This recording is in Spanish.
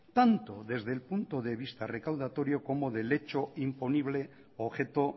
tanto desde el punto de vista recaudatorio como del hecho imponible objeto